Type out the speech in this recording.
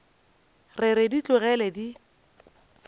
re re di tlogele di